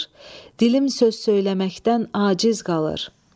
Dilim söz söyləməkdən aciz qalır.